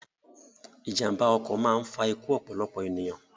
Ìjàmba ọkọ̀ máa ń fa ikú ọ̀pọ̀lọpọ̀ ènìyàn